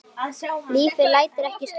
Lífið lætur ekkert stoppa sig.